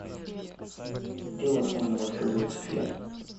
где у вас можно воспользоваться феном